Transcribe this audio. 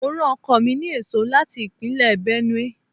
Mo rán ọkọ mi ní èso láti Ìpínlẹ̀ Benue.